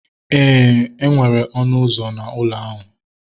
Éè, enwere ọnụ ụzọ na ụlọ ahu